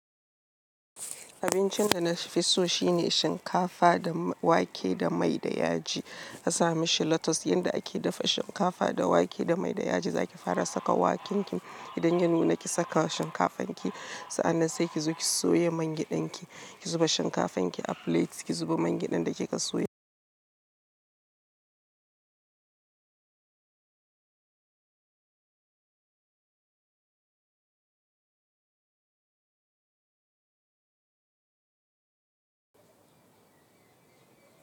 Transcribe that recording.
Abincin da na fi so shine shinkafa da wake da mai da yaji. A sami shi lotus. Yanda ake dafa shinkafa da wake da mai da yaji, za ki fara saka wakinki idan ya nuna ki saka shinkafanki, sa'an nan sai ki zo ki soya mangyaɗanki, ki zuba shinkafanki a plate, ki zuba mangyaɗan da kika soya.